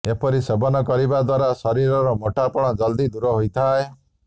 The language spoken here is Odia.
ଏପରି ସେବନ କରିବା ଦ୍ବାରା ଶରୀରର ମୋଟାପଣ ଜଲଦି ଦୂର ହୋଇଥାଏ